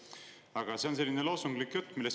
Aga see on selline loosunglik jutt.